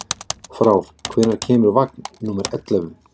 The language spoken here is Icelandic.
Frár, hvenær kemur vagn númer ellefu?